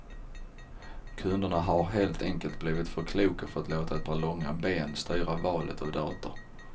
Kunderna har helt enkelt blivit för kloka för att låta ett par långa ben styra valet av dator.